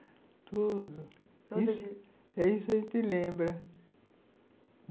Tudo. Isso a gente lembra.